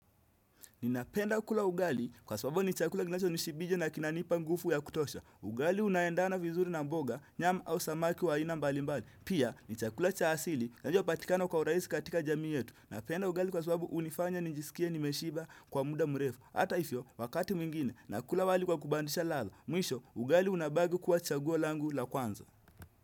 Ninapenda kula ugali kwa sababu ni chakula kinacho nishibisha na kinanipa nguvu ya kutosha. Ugali unaendana vizuri na mboga, nyama au samaki wa ina mbalimbali. Pia, ni chakula cha asili na kinachopatikana kwa urahisi katika jamii yetu. Napenda ugali kwa sababu hunifanya nijisikia nimeshiba kwa muda mrefu. Hata hivyo, wakati mwingine, nakula wali kwa kubadilisha radha Mwisho, ugali unabaki kuwa chaguo langu la kwanza.